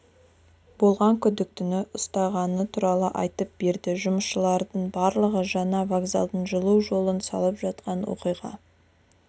болған күдіктіні ұстағаны туралы айтып берді жұмысшылардың барлығы жаңа вокзалдың жылу жолын салып жатқан оқиға